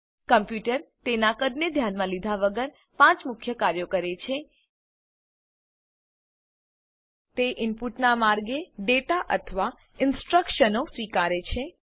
computer તેના કદને ધ્યાનમાં લીધા વગર પાંચ મુખ્ય કાર્યો કરે છે તે ઇનપુટનાં માર્ગે ડેટા અથવા ઇનસ્ટ્રકશનો સ્વીકારે છે